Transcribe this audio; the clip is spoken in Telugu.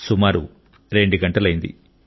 సుమారు 2 గంటలైంది